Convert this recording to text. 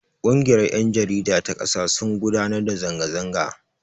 Ƙungiyar yan jarida ta kasa sun gudanar da zanga zanga.